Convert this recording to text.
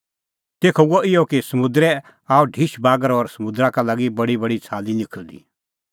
तेखअ हुअ इहअ कि समुंदरै आअ ढिश बागर और समुंदरा का लागी बडीबडी छ़ाली निखल़दी